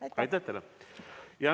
Aitäh teile!